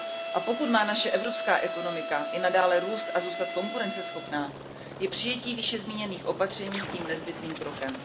A pokud má naše evropská ekonomika i nadále růst a zůstat konkurenceschopná, je přijetí výše zmíněných opatření tím nezbytným krokem.